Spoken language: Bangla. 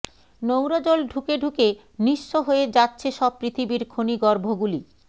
নোংরা জল ঢুকে ঢুকে নিঃস্ব হয়ে যাচেছ সব পৃথিবীর খনিগর্ভগুলি